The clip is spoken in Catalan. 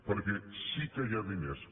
perquè sí que hi ha diners